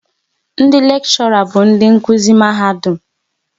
Ndị lekshora bụ ndị nkuzi Mahadum